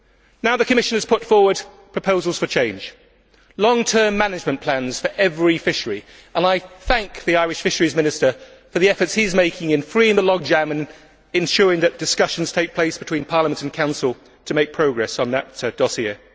Now the Commission has put forward proposals for change long term management plans for every fishery and I thank the Irish Fisheries Minister for the efforts he is making in freeing the logjam and ensuring that discussions take place between Parliament and Council to make progress on the dossier.